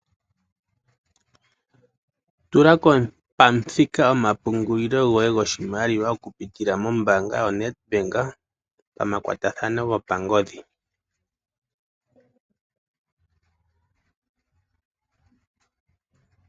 Tula pamuthika omapungulilo goye goshimaliwa okupitila mombaanga yoNedbank pamakwatathano gopangodhi.